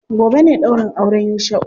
Gobe ne ɗaurin auren Yusha'u.